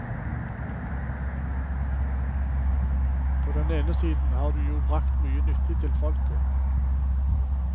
På den ene siden har du jo brakt mye nyttig til folket.